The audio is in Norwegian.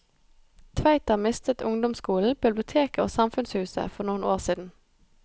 Tveita mistet ungdomsskolen, biblioteket og samfunnshuset for noen år siden.